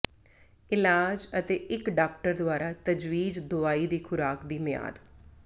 ਇਲਾਜ ਅਤੇ ਇੱਕ ਡਾਕਟਰ ਦੁਆਰਾ ਤਜਵੀਜ਼ ਦਵਾਈ ਦੀ ਖ਼ੁਰਾਕ ਦੀ ਮਿਆਦ